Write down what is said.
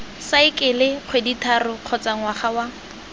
saekele kgwedithataro kgotsa ngwaga wa